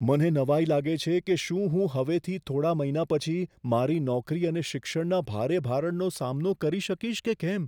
મને નવાઈ લાગે છે કે શું હું હવેથી થોડા મહિના પછી મારી નોકરી અને શિક્ષણના ભારે ભારણનો સામનો કરી શકીશ કે કેમ.